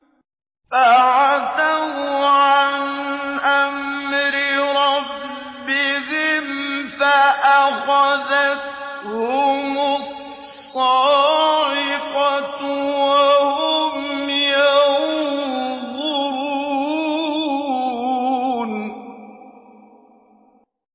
فَعَتَوْا عَنْ أَمْرِ رَبِّهِمْ فَأَخَذَتْهُمُ الصَّاعِقَةُ وَهُمْ يَنظُرُونَ